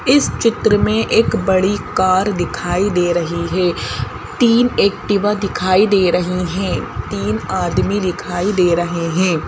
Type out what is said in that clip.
इस चित्र में एक बड़ी कार दिखाई दे रही है तीन एक्टिवा दिखाई दे रही हैं तीन आदमी दिखाई दे रहे हैं।